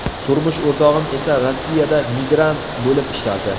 Turmush o‘rtog‘im esa Rossiyada migrant bo‘lib ishlardi.